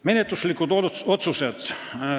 Menetluslikud otsused.